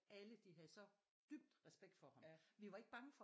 Alle de havde så dybt respekt for ham vi var ikke bange for